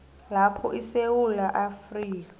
lapho isewula afrika